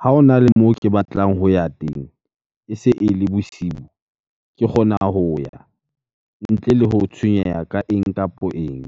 ha hona le moo ke batlang ho ya teng, e se e le bosibu. Ke kgona ho ya ntle le ho tshwenyeha ka eng kapo eng.